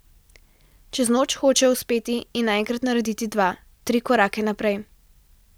Čez noč hočejo uspeti in naenkrat narediti dva, tri korake naprej.